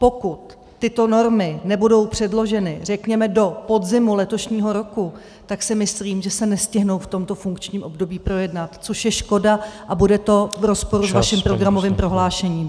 Pokud tyto normy nebudou předloženy řekněme do podzimu letošního roku, tak si myslím, že se nestihnou v tomto funkčním období projednat, což je škoda a bude to v rozporu s vaším programovým prohlášením.